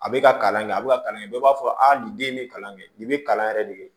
A bɛ ka kalan kɛ a bɛ ka kalan kɛ bɛɛ b'a fɔ nin den bɛ kalan kɛ nin bɛ kalan yɛrɛ de ye